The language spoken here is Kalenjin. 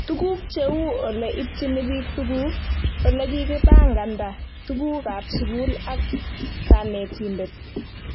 Tuguk cheu ole ipchini pik tuguk, ole kikipanganda tuguk ab sukul ak kanetindet